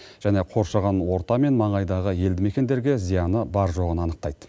және қоршаған орта мен маңайдағы елді мекендерге зияны бар жоғын анықтайды